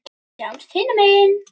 Sjáumst hinum megin.